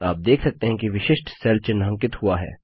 आप देख सकते हैं कि विशिष्ट सेल चिन्हांकित हुआ है